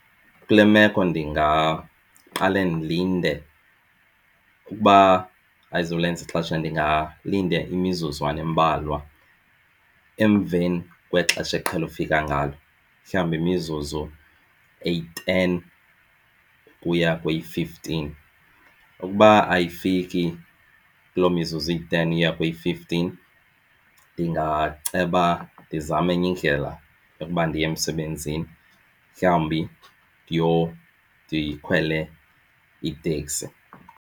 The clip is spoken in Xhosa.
Kule meko ndingaqale ndilinde, ukuba ayizulenza ixesha ndingalinda imizuzwana embalwa emveni kwexesha eqhele ufika ngalo, mhlawumbi imizuzu eyi-ten ukuya kweyi-fifteen. Ukuba ayifiki kulo mizuzu iyi-ten uya kweyi-fifteen ndingaceba ndizame enye indlela yokuba ndiye emsebenzini mhlawumbi ndikhwele iteksi.